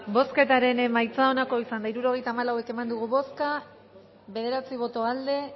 bozketaren emaitza onako izan da hirurogeita hamabost eman dugu bozka bederatzi boto aldekoa